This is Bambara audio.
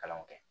Kalanw kɛ